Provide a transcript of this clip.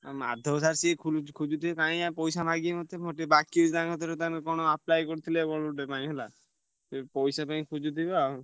ଆଉ ମାଧବ sir ସିଏ ~ଖୋ ଖୋଜୁଥିବେ କାଇଁ ପଇସା ମାଗିବେ ମତେ ମୋର ଟିକେ ବାକି ଅଛି ତ ତାଙ୍କ କତିରେ ତାଙ୍କର କଣ apply କରିଥିଲେ କଣ ଗୋଟେ ପାଇଁ ହେଲା। ସିଏ ପଇସା ପାଇଁ ଖୋଜୁଥିବେ ଆଉ।